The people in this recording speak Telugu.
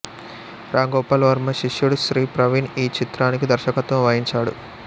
రామ్ గోపాల్ వర్మ శిష్యుడు శ్రీ ప్రవీణ్ ఈ చిత్రానికి దర్శకత్వం వహించాడు